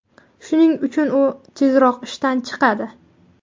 Shuning uchun u tezroq ishdan chiqadi.